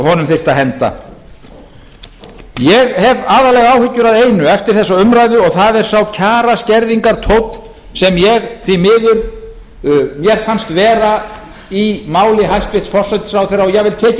honum þyrfti að henda ég hef aðallega áhyggjur af einu eftir þessa umræðu og það er sá kjaraskerðingartónn sem mér því miður fannst vera í máli hæstvirts utanríkisráðherra og jafnvel tekið